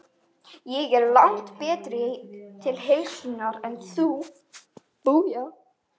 Ég er langtum betri til heilsunnar en þú.